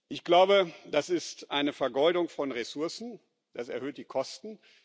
Ich glaube, das ist eine Vergeudung von Ressourcen, das erhöht die Kosten.